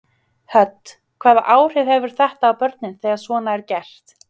Hödd: Hvaða áhrif hefur þetta á börnin þegar svona er gert?